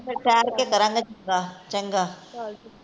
ਠਹਿਰ ਕੇ ਕਰਾਣਾਗੇ ਚੱਲ ਚੰਗਾ, ਚੱਲ